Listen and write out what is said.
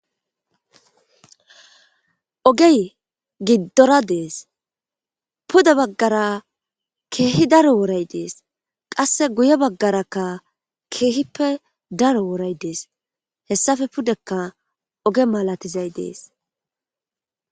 Ogey giddora dees puda baggara keehi daro wooray dees qasse guye baggarakka keehippe daro wooray dees hessafe pudekka oge malatizay dees